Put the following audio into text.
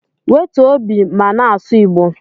Wetuo obi ma na-asụ igbo